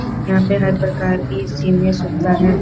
यहाँ पे हर प्रकार के ए.सी. में सुविधा है।